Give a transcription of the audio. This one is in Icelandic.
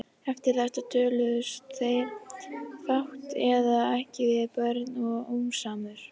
Eftir þetta töluðust þeir fátt eða ekki við Björn og fjósamaður.